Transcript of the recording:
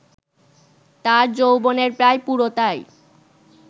তাঁর যৌবনের প্রায় পুরোটাই